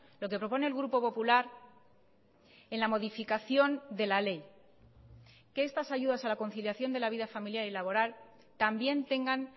lo que propone el grupo popular en la modificación de la ley que estas ayudas a la conciliación de la vida familiar y laboral también tengan